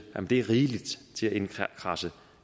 er rigeligt til indkradse